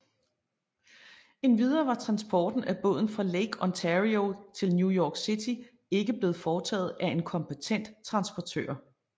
Endvidere var transporten af båden fra Lake Ontario til New York City ikke blevet foretaget af en kompetent transportør